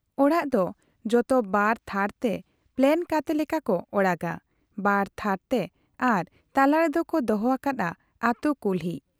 ᱚᱲᱟᱜ ᱫᱚ ᱡᱚᱛᱚ ᱵᱟᱨ ᱛᱷᱟᱨ ᱛᱮ ᱯᱞᱟᱱ ᱠᱟᱛᱮ ᱞᱮᱠᱟ ᱠᱚ ᱚᱲᱟᱜ ᱚᱲᱟᱜ ᱟ ᱵᱟᱨ ᱛᱷᱟᱨᱛᱮ ᱟᱨ ᱛᱟᱞᱟᱨᱮᱫᱚ ᱠᱚ ᱫᱚᱦᱚ ᱟᱠᱟᱫ ᱟ ᱟᱹᱛᱩ ᱠᱩᱞᱦᱤ ᱾